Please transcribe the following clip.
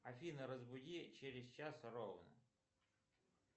афина разбуди через час ровно